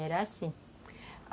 Era assim.